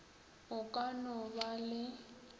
o ka no ba le